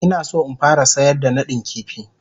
Ina so in fara sayar da nadin kifi.